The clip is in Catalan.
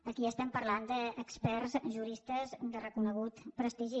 aquí estem parlant d’experts juristes de reconegut prestigi